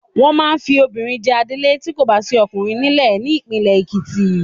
Wọ́n máa fi obìnrin jẹ adelé tí kò bá sí ọkùnrin nílẹ̀ ní ìpínlẹ̀ Ekiti.